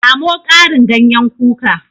Samo Karin ganyen kuka